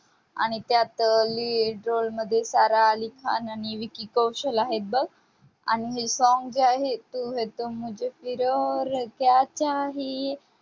आणि त्यात lead role मध्ये सारा अली खान आणि विकी कौशल आहेत बघ. आणि हे song जे आहे तू है तो मुझे फिर और क्या चाहिये